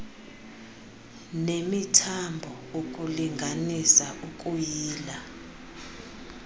nemithambo ukulinganisa ukuyila